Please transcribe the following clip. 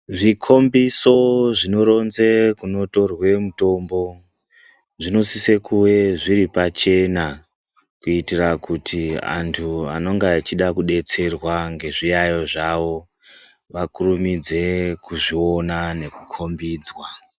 Zvikombiso zvinoronze kunotorwe mutombo zvinosise kuwe zviri pachena kuitire kuti antu anonga achida kudetserwa ngezviyayo zvawo vakurumidze kuzviona nekukombidzwa.